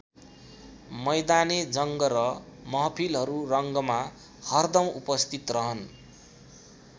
मैदाने जङ्ग र महफिलहरू रङ्गमा हरदम उपस्थित रहन।